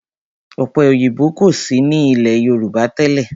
Ọ̀pẹ òyìnbó kò sí ní ilé Yorùbá tẹ́lẹ̀.